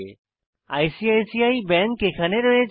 ICICI bank এখানে রয়েছে